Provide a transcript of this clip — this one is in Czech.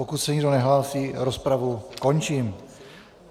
Pokud se nikdo nehlásí, rozpravu končím.